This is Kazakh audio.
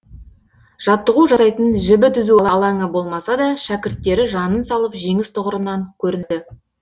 жаттығу жасайтын жібі түзу алаңы болмаса да шәкірттері жанын салып жеңіс тұғырынан көрінді